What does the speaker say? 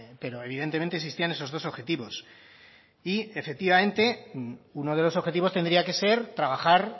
pero evidentemente existían esos dos objetivos y efectivamente uno de los objetivos tendría que ser trabajar